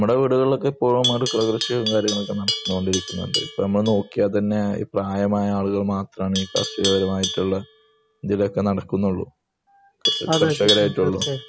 ഇപ്പം നോക്കിയാൽ തന്നെ പ്രായമായ ആളുകൾ മാത്രമേ കൃഷിയെല്ലാം നോക്കി നടക്കുന്നുള്ളൂ